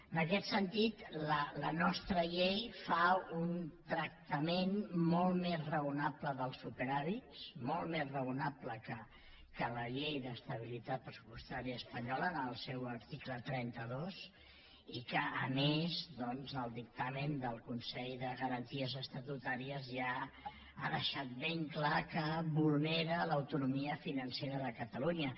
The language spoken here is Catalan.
en aquest sentit la nostra llei fa un tractament molt més raonable dels superàvits molt més raonable que la llei d’estabilitat pressupostària espanyola en el seu article trenta dos que a més doncs el consell de garanties estatutàries ja ha deixat ben clar que vulnera l’autonomia financera de catalunya